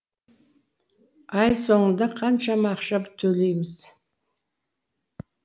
ай соңында қаншама ақша төлейміз